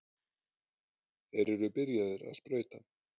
Þeir eru byrjaðir að sprauta.